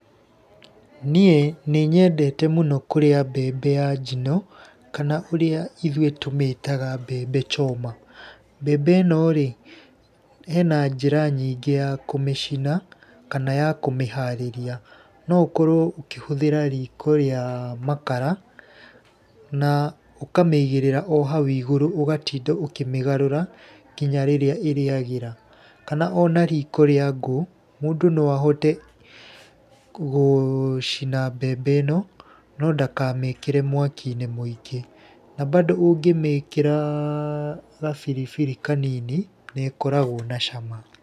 Niĩ nĩ nyendete mũno kũrĩa mbembe ya njino, kana ũrĩa ithuĩ tũmĩtaga mbembe choma. Mbembe ĩno rĩ, hena njĩra nyingĩ ya kũmicina kana ya kũmĩharĩria, no ũkorwo ũkĩhũthĩra riko rĩa makara na ũkamĩigĩrĩra o hau igũrũ ũgatinda ũkĩmĩgarũra nginya rĩrĩa ĩrĩagĩra. Kana ona riko rĩa ngũ, mũndũ no ahote gũcina mbembe ĩno na ndakamĩkĩre mwaki-inĩ mwĩngĩ. Na bado ũngĩmĩkĩra gabiribiri kanini nĩ ĩkoragwo na cama.